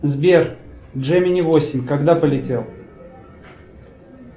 сбер джемини восемь когда полетел